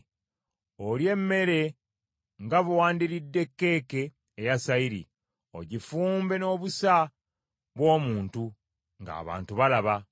Olye emmere nga bwe wandiridde keeke eya sayiri; ogifumbe n’obusa bw’omuntu, ng’abantu balaba.”